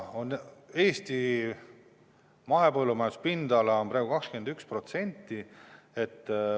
Eesti mahepõllumajanduspindala on praegu 21%.